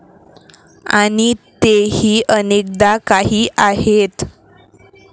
आणि तेही अनेकदा काही आहेत.